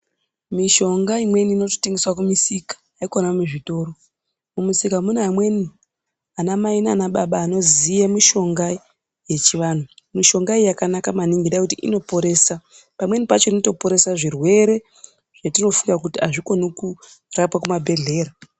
Mishonga imweni inotengeswa kumusika haikona muzvitoro. Mumusika mune amweni anamai naana baba vanoziva mishonga yechivanhu. Mishonga iyi yakanaka maningi nekuti inoporesa pamweni pacho inoporesa zvirwere zvatinofunga kuti hazvikoni kurapiwa kumabhehlera.